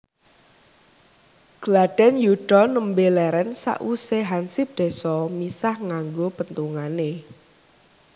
Gladhen yuda nembe leren sawuse hansip désa misah nganggo penthungane